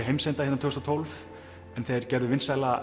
heimsenda tvö þúsund og tólf en þeir gerðu vinsæla